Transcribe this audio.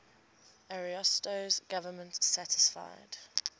ariosto's government satisfied